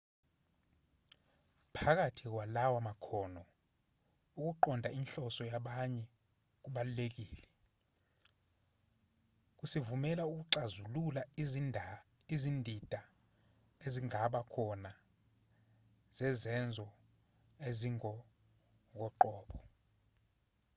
phakathi kwalawa makhono ukuqonda inhloso yabanye kubalulekile kusivumela ukuxazilula izindida ezingaba khona zezenzo ezingokoqobo